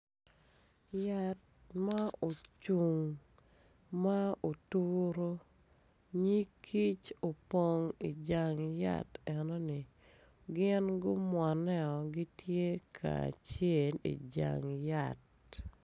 Yat ma ocung ma oturu nyig kic opong ijang yat enoni gin gumwone gitye kacel ijang yati